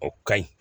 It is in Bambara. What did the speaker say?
O ka ɲi